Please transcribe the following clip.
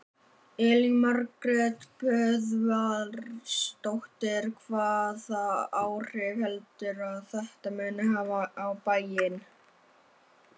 Elín Margrét Böðvarsdóttir: Hvaða áhrif heldurðu að þetta muni hafa á bæinn?